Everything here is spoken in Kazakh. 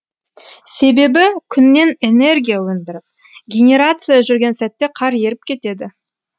себебі күннен энергия өндіріп генерация жүрген сәтте қар еріп кетеді